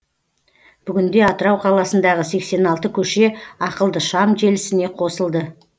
бүгінде атырау қаласындағы сексен алты көше ақылды шам желісіне қосылды